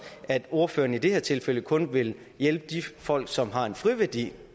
at ordføreren i det her tilfælde kun vil hjælpe de folk som har en friværdi